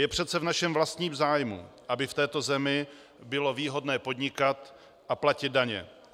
Je přece v našem vlastním zájmu, aby v této zemi bylo výhodné podnikat a platit daně.